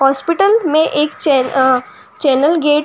hospital मे एक chain आ चेनल गेट --